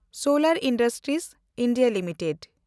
ᱥᱚᱞᱮᱱᱰ industries India limited